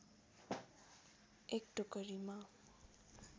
एक टोकरीमा